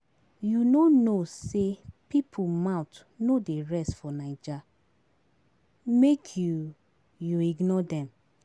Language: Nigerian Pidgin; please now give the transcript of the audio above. You no know sey pipo mouth no dey rest for Naija? make you you ignore dem.